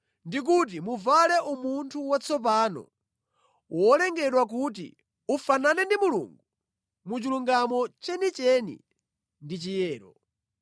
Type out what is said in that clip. ndi kuti muvale umunthu watsopano, wolengedwa kuti ufanane ndi Mulungu mu chilungamo chenicheni ndi chiyero.